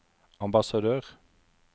ambassadør